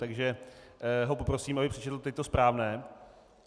Takže ho poprosím, aby přečetl teď to správné.